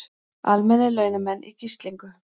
Almennir launamenn í gíslingu